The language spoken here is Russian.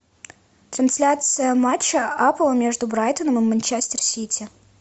трансляция матча апл между брайтоном и манчестер сити